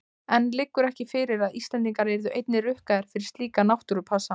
En liggur ekki fyrir að Íslendingar yrðu einnig rukkaðir fyrir slíka náttúrupassa?